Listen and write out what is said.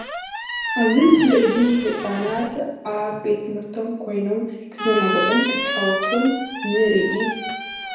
እዚ ምስሊ እዚ ህፃናት ኣብ ቤት ትምህርቶም ኮይኖም ክዘናግዑን ክፃወቱን ንርኢ።